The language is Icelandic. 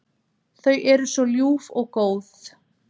Þau eru svo ljúf og góð.